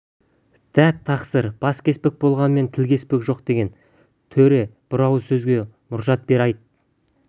дат тақсыр бас кеспек болғанмен тіл кеспек жоқ деген төре бір ауыз сөзге мұрша бер айт